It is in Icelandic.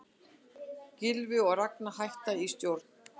Gylfi og Ragna hætta í stjórn